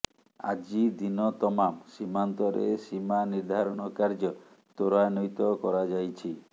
ଆଜି ଦିନ ତମାମ ସୀମାନ୍ତରେ ସୀମା ନିର୍ଦ୍ଧାରଣ କାର୍ଯ୍ୟ ତ୍ୱରାନ୍ୱିତ କରାଯାଇଛି